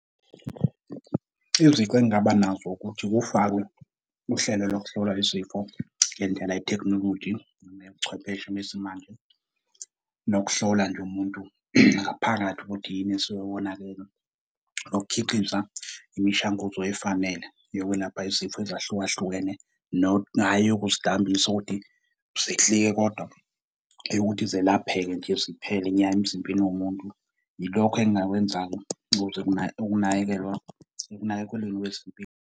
Izici engingaba nazo ukuthi kufakwe uhlelo lokuhlola izifo ngendlela ye-technology neyobuchwepheshe besimanje. Nokuhlola nje umuntu ngaphakathi ukuthi yini esuke yonakele. Nokukhiqiza imishanguzo efanele yokwelapha izifo ezahlukahlukene hhayi eyokuzidambisa ukuthi zehlike kodwa, eyokuthi zelapheke nje ziphele nya emzimbeni womuntu. Yilokhu engingakwenza-ke ukuze ukunakekelwa ekunakekelweni kwezempilo.